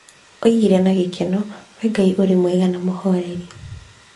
Oigire na gĩkeno, "Wee Ngai, ũrĩ mwega na mũhooreri."